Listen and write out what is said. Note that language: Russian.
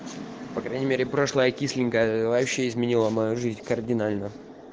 по крайней мере прошлое кисленько вообще изменила мою жизнь кардинально